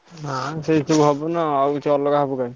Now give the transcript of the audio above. ନାଇଁ ସେଇଆ ହବ ନାଁ ଆଉ କିଛି ଅଲଗା କଣ ପାଇଁ।